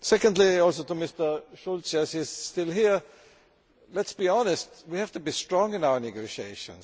Secondly, also to Mr Schulz yes he is still here let us be honest, we have to be strong in our negotiations.